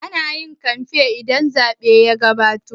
Ana yin kamfen idan zaɓe ya gabato